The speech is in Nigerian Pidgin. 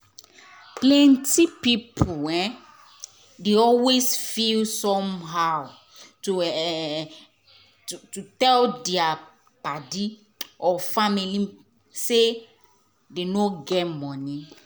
plenty pipu um dey always feel somehow to um to tell dia paddy or family say dem no get money.